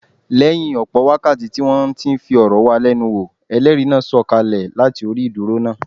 Lẹ́yìn ọ̀pọ̀ wákàtí tí wọ́n ti ń fọ̀rọ̀ wá lẹ́nu wò, Ẹlẹ́rìí náà sọ̀ kalẹ̀ láti orí ìdúró náà.